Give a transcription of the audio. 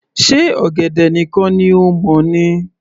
Ṣe ọ̀gẹ̀dẹ̀ nìkan ni o mọ̀ ni